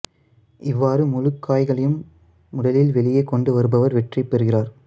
இவ்வாறு முழுக் காய்களையும் முதலில் வெளியே கொண்டு வருபவர் வெற்றி பெறுகிறார்